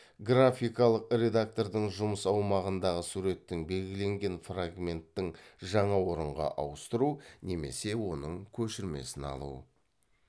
графикалық редактордың жұмыс аумағындағы суреттің белгіленген фрагменттің жаңа орынға ауыстыру немесе оның көшірмесін алу